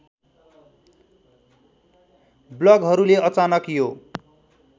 ब्लगहरूले अचानक यो